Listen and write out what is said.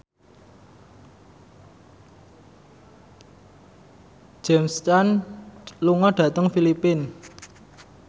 James Caan lunga dhateng Filipina